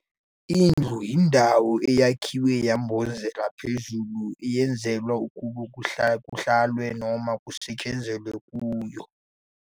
"Indlu" indawo eyakhiwe yambhozeka phezulu eyenzelwe ukuba kuhlalwe noma kusetshenzelwe kuyo.